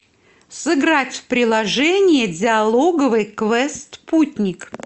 сыграть в приложение диалоговый квест путник